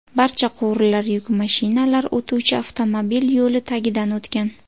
Barcha quvurlar yuk mashinalar o‘tuvchi avtomobil yo‘li tagidan o‘tgan.